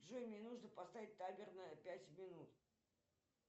джой мне нужно поставить таймер на пять минут